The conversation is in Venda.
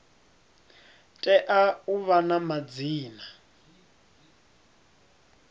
tea u vha na madzina